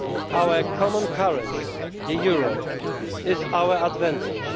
Our common currency, the euro, is our advantage.